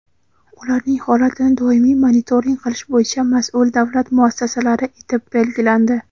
ularning holatini doimiy monitoring qilish bo‘yicha mas’ul davlat muassasalari etib belgilandi.